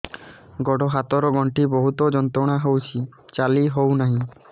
ଗୋଡ଼ ହାତ ର ଗଣ୍ଠି ବହୁତ ଯନ୍ତ୍ରଣା ହଉଛି ଚାଲି ହଉନାହିଁ